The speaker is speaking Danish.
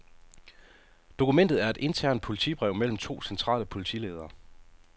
Dokumentet er et internt politibrev mellem to centrale politiledere.